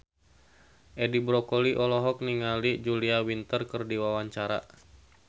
Edi Brokoli olohok ningali Julia Winter keur diwawancara